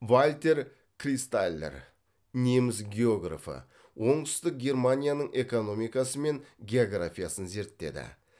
вальтер кристаллер неміс географы оңтүстік германияның экономикасы мен географиясын зерттеді